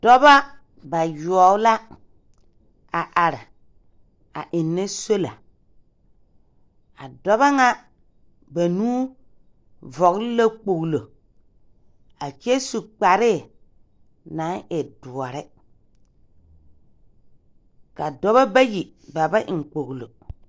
Dɔba bayoɔwo la a are a ennɛ sola. A dɔba ŋa banuu vɔgle la kpoglo a kyɛ su kparee naŋ e doɔre. Ka dɔba bayi, ba ba eŋ kpoglo.